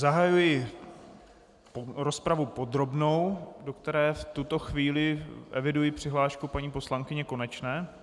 Zahajuji rozpravu podrobnou, do které v tuto chvíli eviduji přihlášku paní poslankyně Konečné.